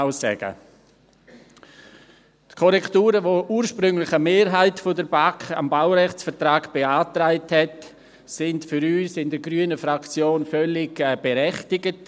Die Korrekturen am Baurechtsvertrag, die ursprünglich eine Mehrheit der BaK beantragt hat, waren für uns in der Fraktion Grüne völlig berechtigt.